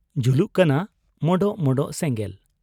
ᱡᱩᱞᱩᱜ ᱠᱟᱱᱟ ᱢᱚᱸᱰᱚᱜ ᱢᱚᱸᱰᱚᱜ ᱥᱮᱸᱜᱮᱞ ᱾